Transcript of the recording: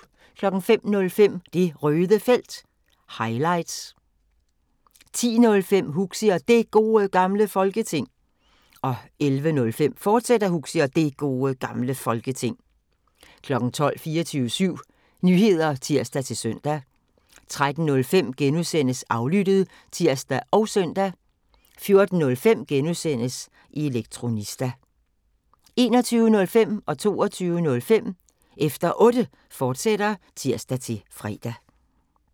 05:05: Det Røde Felt – highlights 10:05: Huxi og Det Gode Gamle Folketing 11:05: Huxi og Det Gode Gamle Folketing, fortsat 12:00: 24syv Nyheder (tir-søn) 13:05: Aflyttet *(tir og søn) 14:05: Elektronista * 21:05: Efter Otte, fortsat (tir-fre) 22:05: Efter Otte, fortsat (tir-fre)